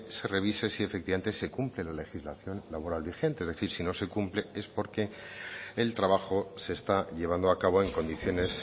se revise si efectivamente se cumple la legislación laboral vigente es decir si no se cumple es porque el trabajo se está llevando a cabo en condiciones